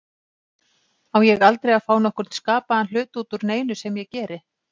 Á ég aldrei að fá nokkurn skapaðan hlut út úr neinu sem ég geri?